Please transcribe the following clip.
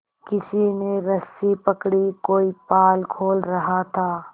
किसी ने रस्सी पकड़ी कोई पाल खोल रहा था